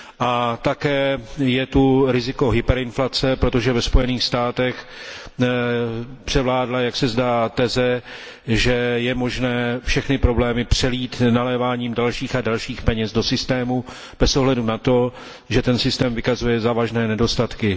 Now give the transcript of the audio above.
A také je tu riziko hyperinflace, protože ve Spojených státech převládla, jak se zdá, teze, že je možné všechny problémy přelít naléváním dalších a dalších peněz do systému bez ohledu na to, že ten systém vykazuje závažné nedostatky.